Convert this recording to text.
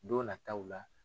Don nataw la.